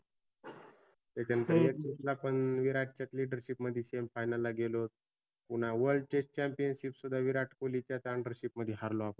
त्याच्यानंतर एकविसला पण विराटच्याच leadership मध्ये semi final ला गेलोत. पुन्हा world chess chamiopnship सुद्धा विराट कोल्हीच्याच undership मधी हारलो आपण.